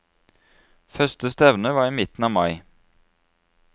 Første stevne var i midten av mai.